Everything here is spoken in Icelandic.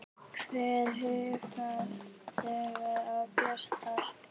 Hver huggar þegar á bjátar?